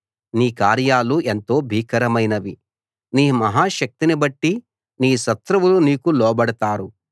నీ కార్యాలు ఎంతో భీకరమైనవి నీ మహా శక్తిని బట్టి నీ శత్రువులు నీకు లోబడతారు